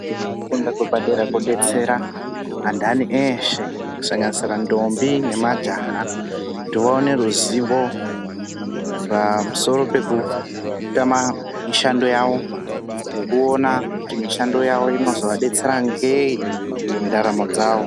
Kufunda kwepadera kodetsera andani eshe kusanganisisa ndombi nemajaha kuti vaone ruzivo pamusoro pekutama mishando yawo, ngekuona kuti mishando yawo inozowabetsera ngei mundaramo dzawo.